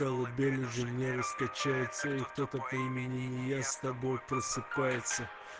колыбель уже нервы скачается и кто-то применения с тобой просыпается